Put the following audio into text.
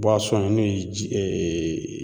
n'o ye ji